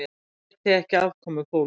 Það bæti ekki afkomu fólks.